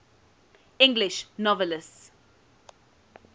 english novelists